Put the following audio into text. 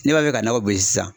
N'e b'a fɛ ka nakɔ sisan